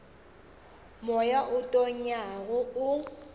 moya wo o tonyago o